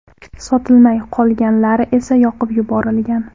Sotilmay qolganlari esa yoqib yuborilgan.